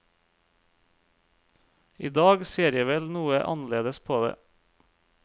I dag ser jeg vel noe annerledes på det.